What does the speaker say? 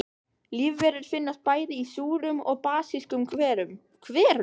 Lífverur finnast bæði í súrum og basískum hverum.